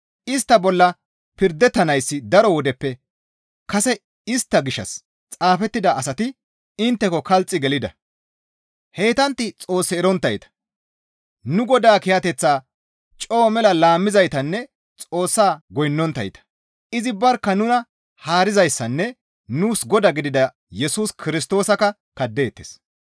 Istta bolla pirdettanayssi daro wodeppe kase istta gishshas xaafettida asati intteko kalxi gelida; heytantti Xoos eronttayta; nu Godaa kiyateththaa coo mela laammizaytanne Xoossaa goynnonttayta. Izi barkka nuna haarizayssanne nuus Godaa gidida Yesus Kirstoosakka kaddeettes.